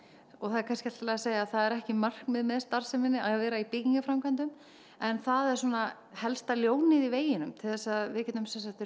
og það er kannski allt í lagi að segja að það er ekki markmið með starfseminni að vera í byggingarframkvæmdum en það er svona helsta ljónið í veginum til þess að við getum